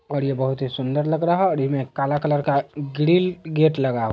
और ये बहुत ही सुन्दर लगा रहा है और ये काला कलर का है ग्रील गेट लगा----